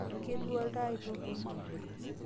ketwa oltaa aitoki?